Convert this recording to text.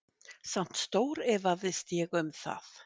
Samt stórefaðist ég um það.